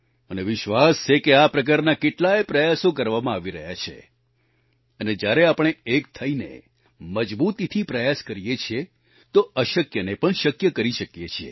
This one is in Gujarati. મને વિશ્વાસ છે કે આ પ્રકારના કેટલાય પ્રયાસો કરવામાં આવી રહ્યા છે અને જ્યારે આપણે એક થઈને મજબૂતીથી પ્રયાસ કરીએ છીએ તો અશક્યને પણ શક્ય કરી શકીએ છીએ